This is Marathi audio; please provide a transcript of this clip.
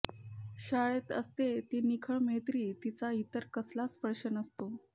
शाळेत असते ती निखळ मैत्री तिला इतर कसला स्पर्श नसतो